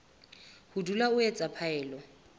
ho dula o etsa phaello